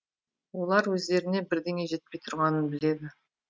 олар өздеріне бірдеңе жетпей тұрғанын біледі